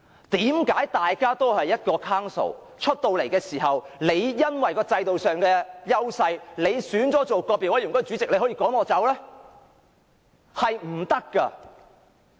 為何大家屬於同一個 Council， 但因為制度上的優勢，獲選為個別委員會主席便可以趕我走呢？